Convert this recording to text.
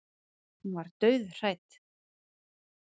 Hún var dauðhrædd.